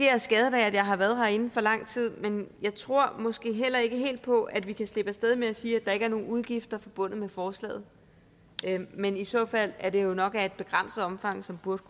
jeg skadet af at jeg har været herinde for lang tid men jeg tror måske heller ikke helt på at vi kan slippe af sted med at sige at der ikke er nogen udgifter forbundet med forslaget men i så fald er det jo nok af et begrænset omfang som burde